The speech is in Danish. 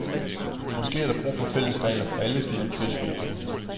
Måske er der brug for fælles regler for alle finansielle virksomheder.